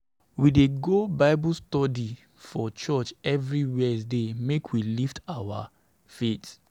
We dey go Bible study for church every Wednesday make we lift our faith.